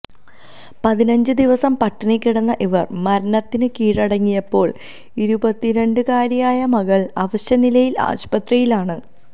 പതിനഞ്ച് ദിവസം പട്ടിണി കിടന്ന ഇവര് മരണത്തിന് കീഴടങ്ങിയപ്പോള് ഇരുപത്തിരണ്ടുകാരിയായ മകള് അവശനിലയില് ആശുപത്രിയിലാണ്